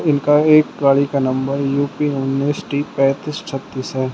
इनका एक गाड़ी का नंबर यू_पी उनीस टी पैंतीस छत्तीस है।